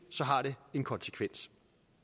har det den konsekvens